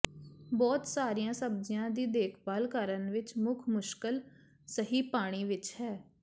ਬਹੁਤ ਸਾਰੀਆਂ ਸਬਜ਼ੀਆਂ ਦੀ ਦੇਖਭਾਲ ਕਰਨ ਵਿੱਚ ਮੁੱਖ ਮੁਸ਼ਕਲ ਸਹੀ ਪਾਣੀ ਵਿੱਚ ਹੈ